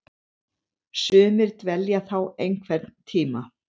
Sumir dvelja þá einhvern tíma.